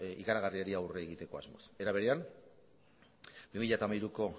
ikaragarriari aurre egiteko asmoz era berean bi mila hamairuko